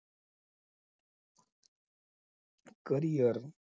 carrier